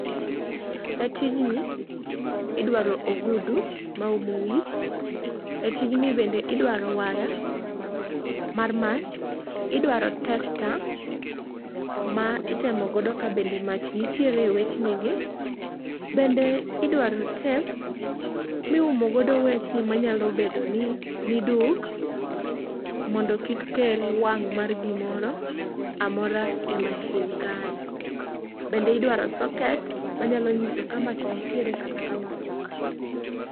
E tijni, idwaro ogudu maumo wich. E tijni bende, idwaro waya mar mach, idwaro tester ma itemo godo ka bende mach nitiere e wechnigi. Bende idwaro tape miumo godo wechni manyalo bedo ni niduk, mondo kik kel wang' mar gimoro amora e machine kae. Bende idwaro socket manyalo nyiso ka mach nitiere kata mach onge.